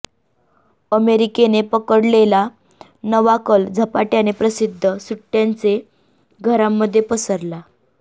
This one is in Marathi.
अमेरिकेने पकडलेला नवा कल झपाट्याने प्रसिद्ध सुट्ट्यांचे घरांमध्ये पसरला